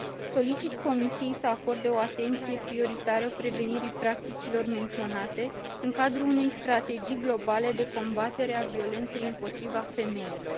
Solicit Comisiei să acorde o atenție prioritară prevenirii practicilor menționate, în cadrul unei strategii globale de combatere a violenței împotriva femeilor.